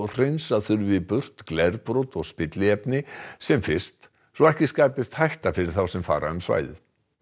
hreinsa þurfi burtu glerbrot og spilliefni sem fyrst svo ekki skapist hætta fyrir þá sem fara um svæðið